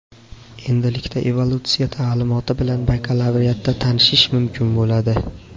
Endilikda evolyutsiya ta’limoti bilan bakalavriatda tanishish mumkin bo‘ladi.